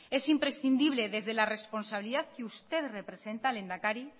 es imprescindible desde la responsabilidad que usted representa lehendakari